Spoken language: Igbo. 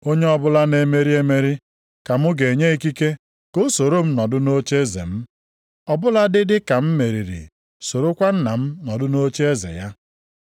Onye ọbụla na-emeri emeri, ka mụ ga-enye ikike ka o soro m nọdụ nʼocheeze m. Ọ bụladị dịka m meriri sorokwa Nna m nọdụ nʼocheeze ya.